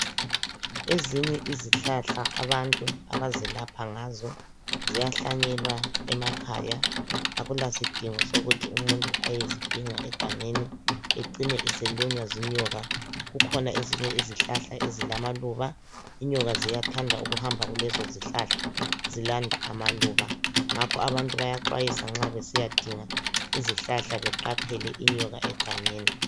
Ezinye izihlahla abantu abazelapha ngazo ziyahlanyelwa emakhaya Akulasidingo sokuthi umuntu ayezidinga egangeni ecine eselunywa zinyoka. Kukhona ezinye izihlahla ezilamaluba inyoka ziyathanda ukuhamba kulezo zihlahla zilanda amaluba. Ngakho abantu bayaxwayiswa nxa besiyadinga izihlahla beqaphele inyoka egangeni.